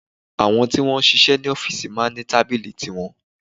Àwọn tí wọ́n ń sisẹ́ ní ọ́fìsì máa ń ní tábìlì tiwọn